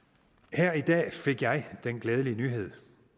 her i dag fik jeg den glædelige nyhed